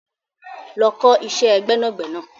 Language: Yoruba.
Lọ ọ kọ́ iṣẹ́ gbẹ́nàgbẹnà.